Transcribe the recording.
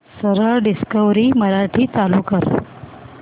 सरळ डिस्कवरी मराठी चालू कर